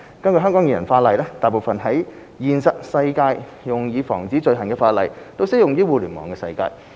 根據香港現行法例，大部分在現實世界用以防止罪行的法例，均適用於互聯網世界。